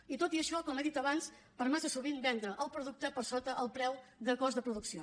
i tot i això com he dit abans per massa sovint vendre el producte per sota el preu de cost de producció